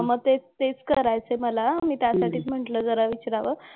हां. मग तेच तेच करायचंय मला. मी त्यासाठीच म्हंटलं जरा विचारावं.